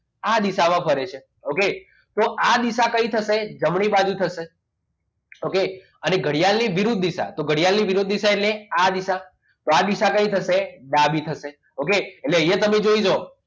આ દિશામાં વળે છે okay તો આ દિશા કઈ થશે જમણી બાજુ થશે okay અને ઘડિયાળની વિરુદ્ધ દિશા એટલે કે ઘડિયાની વિરુદ્ધ દિશા એટલે આ દિશા કઈ થશે okay તો અહીંયા તમે જોઈ લો